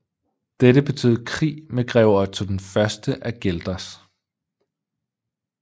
Dette betød krig med grev Otto I af Guelders